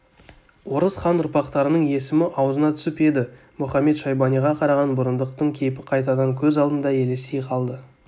орыс хан ұрпақтарының есімі аузына түсіп еді мұхамед-шайбаниға қараған бұрындықтың кейпі қайтадан көз алдында елестей қалды